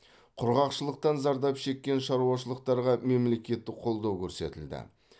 құрғақшылықтан зардап шеккен шаруашылықтарға мемлекеттік қолдау көрсетілді